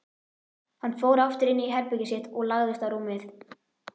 Hann fór aftur inní herbergið sitt og lagðist á rúmið.